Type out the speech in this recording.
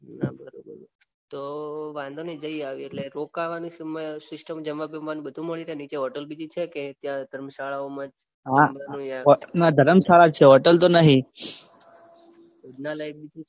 ભોજનાલાય બી છે ના બરોબર તો વાંધો નઇ જઈ આવીએ એટલે રોકાવાની સિસ્ટમ જમવાનું બધું મળી રે નીચે હોટલ બીજી છે કે ત્યાં ધર્મશાળાઓ માં જ જમવાનું આવે ના ધરમશાળા જ છે હોટલ તો નહીં